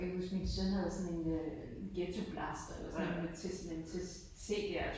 Jeg kan huske min søn havde sådan en øh en ghettoblaster sådan noget men til men til CDer